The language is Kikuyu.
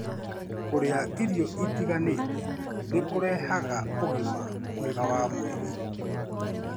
Kũrĩa irio itiganĩte nĩ kũrehaga ũgima mwega wa mwĩrĩ.